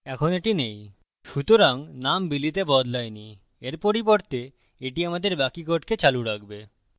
এখন এটি নেই সুতরাং name billy তে বদলায় no এর পরিবর্তে এটি আমাদের বাকি code চালু রাখবে